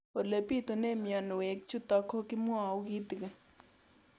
Ole pitune mionwek chutok ko kimwau kitig'�n